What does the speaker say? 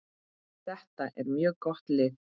Þetta er mjög gott lið.